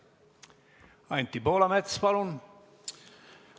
Anti Poolamets, palun!